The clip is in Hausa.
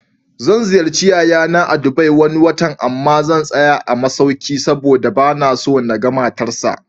Zan ziyarci yayana a Dubai Wani watan, amma zan tsaya a masauki saboda banaso naga matar sa